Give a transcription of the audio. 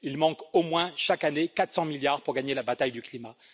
Il manque au moins, chaque année, 400 milliards pour gagner la bataille du climat.